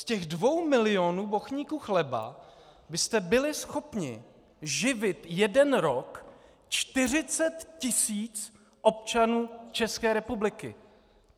Z těch dvou milionů bochníků chleba byste byli schopni živit jeden rok 40 tisíc občanů České republiky!